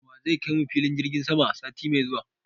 Wa zai kai mu filin jirgin sama sati mai zuwa?